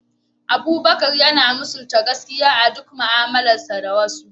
Abubakar yana misalta gaskiya a duk mu’amalarsa da wasu.